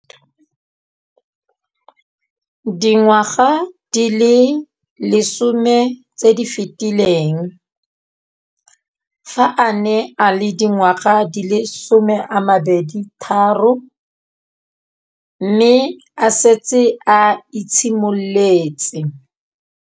Dingwaga di le 10 tse di fetileng, fa a ne a le dingwaga di le 23 mme a setse a itshimoletse